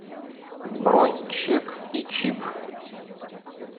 бронь чек и чип